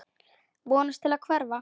Vonast til að hverfa.